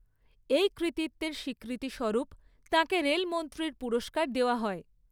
এই কৃতিত্বের স্বীকৃতিস্বরূপ তাঁকে রেলমন্ত্রীর পুরস্কার দেওয়া হয়।